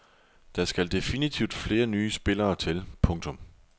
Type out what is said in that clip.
Der skal definitivt flere nye spillere til. punktum